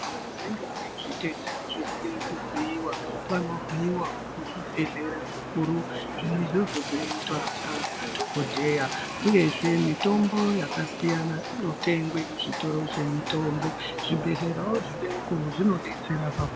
Vanenge vane zvitenda zvekude kuvhiyiwa vano vhiyiwa kuzvibhedhlera zvikuru . Zvirozvo izvozvo zvinoitwa ngaana dhokodheya uye zvemitombo yakasiyana inotengwe kuzvitoro zvemitombo zvibhedhlerayo zvidiko zvinodetsera paku.